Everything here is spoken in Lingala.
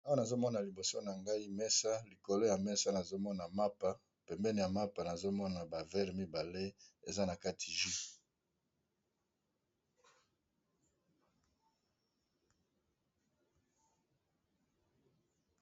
Awa nazomona liboso na ngai mesa likolo ya mesa nazomona mapa pembeni ya mapa nazomona ba verre mibale eza na kati jus.